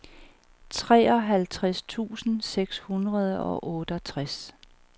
treoghalvtreds tusind seks hundrede og otteogtres